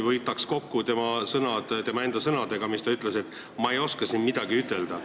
Võtan selle kokku tema enda sõnadega: ma ei oska siin midagi ütelda.